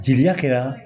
Jeliya kɛra